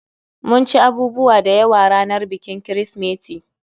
Mun ci abubuwa dayawa ranar bikin Kirsimeti